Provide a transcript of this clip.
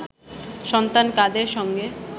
সন্তান কাদের সঙ্গে